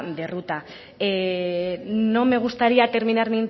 de ruta no me gustaría terminar